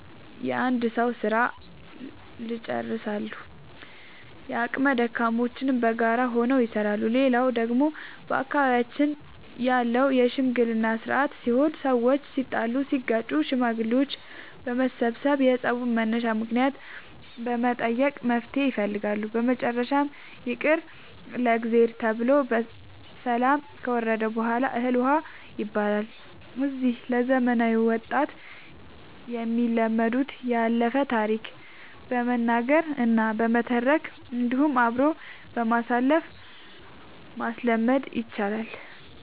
የአንድ ሰዉ ስራ ልጨርሳሉ። የአቅመ ደካሞችንም በጋራ ሆነው ይሰራሉ። ሌላው ደግሞ በአካባቢያችን ያለው የሽምግልና ስርአት ሲሆን ሰዎች ሲጣሉ ሲጋጩ ሽማግሌዎች በመሰብሰብ የፀቡን መነሻ ምክንያት በመጠየቅ መፍትሔ ይፈልጋሉ። በመጨረሻም ይቅር ለእግዚአብሔር ተብሎ ሰላም ከወረደ በሗላ እህል ውሃ ይባላል። እነዚህ ለዘመናዊ ወጣት የሚለመዱት ያለፈውን ታሪክ በመናገር እና በመተረክ እንዲሁም አብሮ በማሳተፍ ማስለመድ ይቻላል።